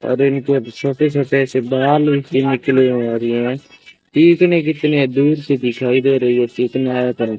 और इनको छोटे छोटे से भी निकले और यह कितने कितने दूर से दिखाई दे रही है कितना ।